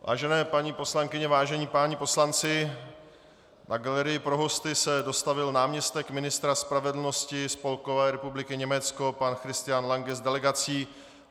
Vážené paní poslankyně, vážení páni poslanci, na galerii pro hosty se dostavil náměstek ministra spravedlnosti Spolkové republiky Německo pan Christian Lange s delegací.